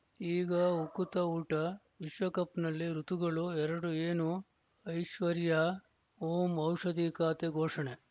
ಈಗ ಉಕುತ ಊಟ ವಿಶ್ವಕಪ್‌ನಲ್ಲಿ ಋತುಗಳು ಎರಡು ಏನು ಐಶ್ವರ್ಯಾ ಓಂ ಔಷಧಿ ಖಾತೆ ಘೋಷಣೆ